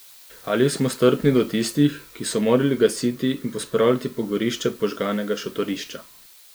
Ali smo strpni do tistih, ki so morali gasiti in pospravljati pogorišče požganega šotorišča?